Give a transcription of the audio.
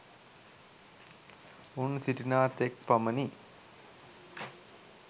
උන් සිටිනා තෙක් පමණි.